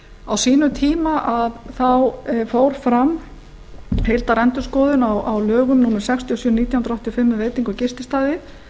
á sínum tíma fór fram heildarendurskoðun á lögum númer sextíu og sjö nítján hundruð áttatíu og fimm um veitinga og gististaði